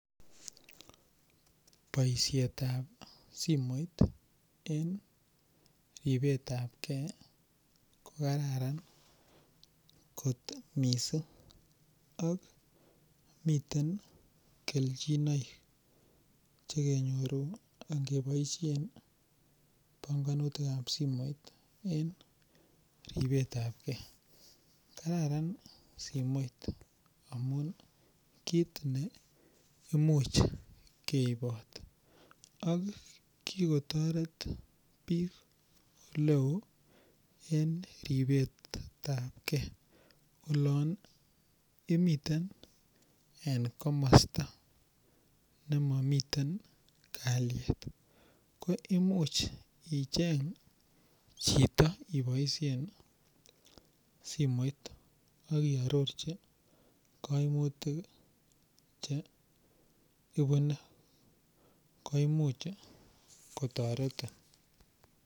boisheet ab simoit en ribeet ab kee kogararan kot miising ak miteen kelchinoik chegenyoru ingeboishen bongonutik ab simoit en ribeet ab kee, kararan simoit amuun kiit neimuch geiboot ak kigotoret biik eleoo en ribeet ab kee, oloon imiten en komosta nemomiten kalyeet ko imuch icheng chito iboishen simoiit ak iarorchi koimutik iih cheibune ko imuch kotoretin,